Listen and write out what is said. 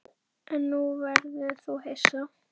En nú verður þú hissa!